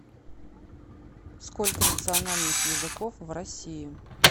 сколько национальных языков в россии